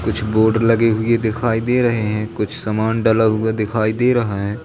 कुछ बोर्ड लगे हुए दिखाई दे रहे हैं कुछ सामान डला हुआ दिखाई दे रहा है।